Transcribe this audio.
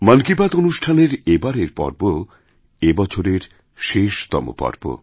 মন কিবাত অনুষ্ঠানের এবারের পর্ব এবছরের শেষতম পর্ব